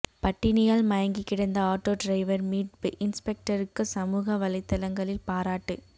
பட்டினியால் மயங்கி கிடந்த auto driver மீட்பு இன்ஸ்பெக்டருக்கு சமூக வலைதளங்களில் பாராட்டு